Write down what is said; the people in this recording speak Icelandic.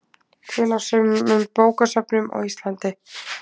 Til á sumum bókasöfnum á Íslandi.